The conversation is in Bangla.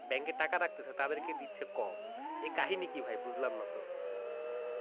bank টাকা রাখতেছে তাদেরকে দিচ্ছে কম এর কাহিনী কি ভাই বুঝলাম না তো।